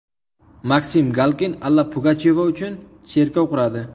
Maksim Galkin Alla Pugachyova uchun cherkov quradi.